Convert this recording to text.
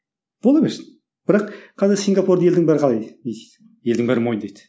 бола берсін бірақ қазір сингапурды елдің бәрі қалай не істейді елдің бәрі мойындайды